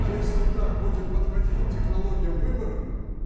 если так будем подходить к технологиям выборов